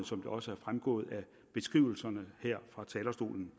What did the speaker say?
som det også er fremgået af beskrivelserne her fra talerstolen